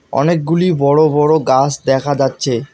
অনেকগুলি বড় বড় গাছ দেখা যাচ্ছে।